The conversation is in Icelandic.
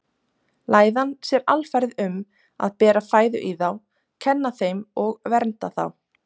Læðan sér alfarið um að bera fæðu í þá, kenna þeim og vernda þá.